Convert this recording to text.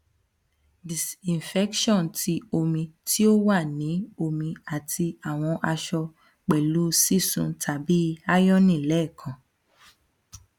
disinfection ti omi ti o wa ni omi ati awọn aṣọ pẹlu sisun tabi ironing lẹẹkan